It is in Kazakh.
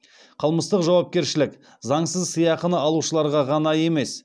қылмыстық жауапкершілік заңсыз сыйақыны алушыларға ғана емес